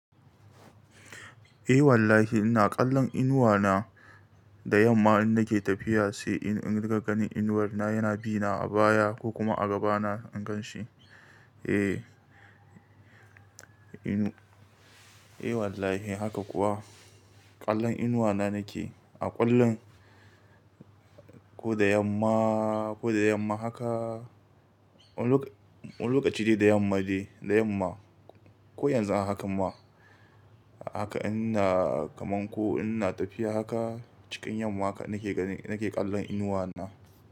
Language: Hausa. Eh wallahi ina ƙallon inuwa na da yamma in nake tafiya, sai in rika ganin inuwar na yana bina a baya ko kuma a gaba na in gan shi. Eh, inu-- eh wallahi haka kuwa ƙallon inuwa na nake a ƙwallon ko da yamma, ko da yamma haka, wani lokaci dai da yamma dai, da yamma ko yanzu ana hakan ma. Haka ina kaman ko ina tafiya haka, cikin yamma haka nake gani, nake ƙallon inuwa na.